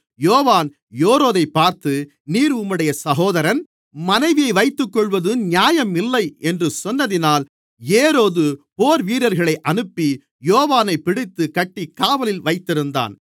யோவான் ஏரோதைப் பார்த்து நீர் உம்முடைய சகோதரன் மனைவியை வைத்துக்கொள்ளுவது நியாயம் இல்லை என்று சொன்னதினால் ஏரோது போர்வீரர்களை அனுப்பி யோவானைப் பிடித்துக் கட்டிக் காவலில் வைத்திருந்தான்